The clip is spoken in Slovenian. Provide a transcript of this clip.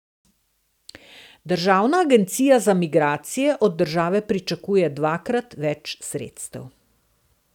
Državna agencija za migracije od države pričakuje dvakrat več sredstev.